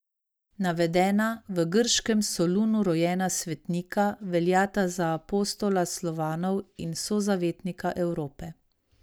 Navedena, v grškem Solunu rojena svetnika, veljata za apostola Slovanov in sozavetnika Evrope.